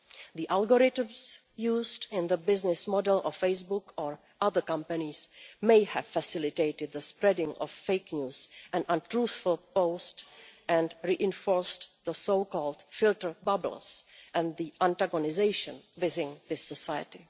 The algorithms used in the business model of Facebook or other companies may have facilitated the spreading of fake news and untruthful posts and reinforced so called filter bubbles' and the antagonisation within this society.